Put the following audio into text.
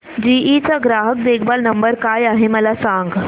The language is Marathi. जीई चा ग्राहक देखभाल नंबर काय आहे मला सांग